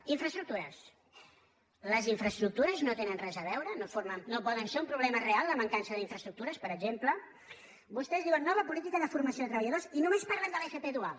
i infraestructures les infraestructures no hi tenen res a veure no pot ser un problema real la mancança d’infraestructures per exemple vostès diuen nova política de formació de treballadors i només parlen de l’fp dual